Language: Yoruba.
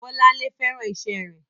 Bọ́lárìnwá féràn iṣẹ́ rẹ̀.